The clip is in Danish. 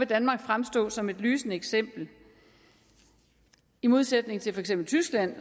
danmark fremstå som et lysende eksempel i modsætning til for eksempel tyskland